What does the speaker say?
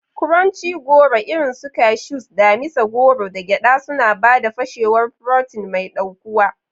Crunchy goro irin su cashews, damisa goro, da gyada suna ba da fashewar furotin mai ɗaukuwa.